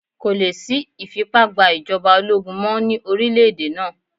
Kò lè sí ìfipá gba ìjọba ológun mọ́ ní orílẹ̀ èdè náà.